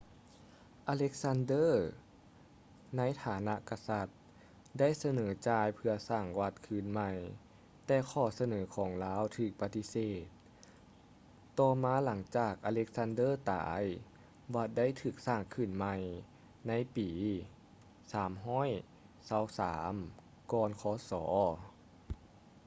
alexander ໃນຖານະກະສັດ ໄດ້ສະເໜີຈ່າຍເພື່ອສ້າງວັດຄືນໃໝ່ ແຕ່ຂໍ້ສະເໜີຂອງລາວຖືກປະຕິເສດ ຕໍ່ມາຫລັງຈາກ alexander ຕາຍ ວັດໄດ້ຖືກສ້າງຂຶ້ນໃໝ່ ໃນປີ 323 ກ່ອນ ຄສ